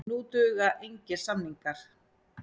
Nú duga engir samningar.